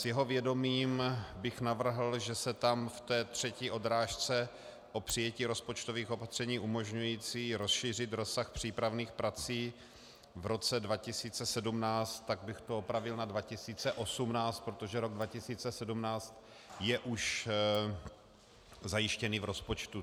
S jeho vědomím bych navrhl, že se tam v té třetí odrážce o přijetí rozpočtových opatření umožňujících rozšířit rozsah přípravných prací v roce 2017, tak bych to opravil na 2018, protože rok 2017 je už zajištěný v rozpočtu.